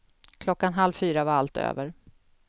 Klockan halv fyra var allt över.